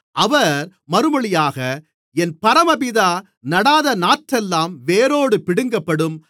அவர் மறுமொழியாக என் பரமபிதா நடாத நாற்றெல்லாம் வேரோடு பிடுங்கப்படும்